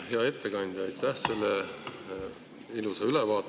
Hea ettekandja, aitäh selle ilusa ülevaate eest!